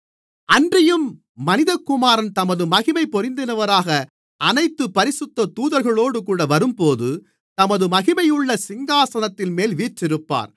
அன்றியும் மனிதகுமாரன் தமது மகிமை பொருந்தினவராக அனைத்து பரிசுத்த தூதர்களோடுகூட வரும்போது தமது மகிமையுள்ள சிங்காசனத்தின்மேல் வீற்றிருப்பார்